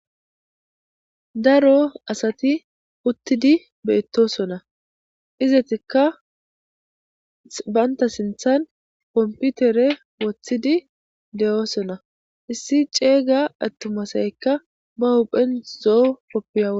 daro asati uttidi beettosona izetikka baynta sinthan komputere wothidi de7oosona issi ceeyga attumasaykka ba huphen zoo koppiae